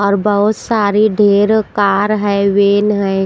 और बहुत सारी ढेर कार है वेन है।